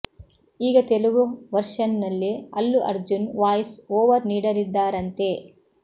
ಈಗ ತೆಲುಗು ವರ್ಷನ್ ನಲ್ಲಿ Allu Arjun voice over ನೀಡಲಿದ್ದಾರಂತೆ